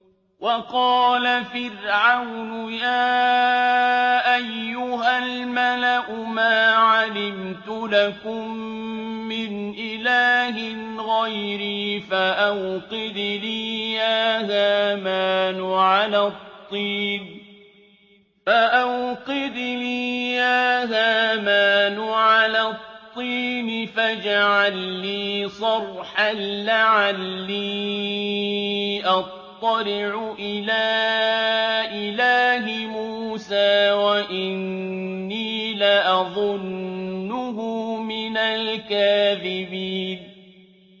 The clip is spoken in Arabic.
وَقَالَ فِرْعَوْنُ يَا أَيُّهَا الْمَلَأُ مَا عَلِمْتُ لَكُم مِّنْ إِلَٰهٍ غَيْرِي فَأَوْقِدْ لِي يَا هَامَانُ عَلَى الطِّينِ فَاجْعَل لِّي صَرْحًا لَّعَلِّي أَطَّلِعُ إِلَىٰ إِلَٰهِ مُوسَىٰ وَإِنِّي لَأَظُنُّهُ مِنَ الْكَاذِبِينَ